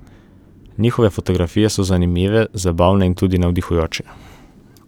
Njihove fotografije so zanimive, zabavne in tudi navdihujoče.